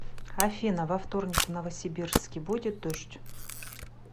афина во вторник в новосибирске будет дождь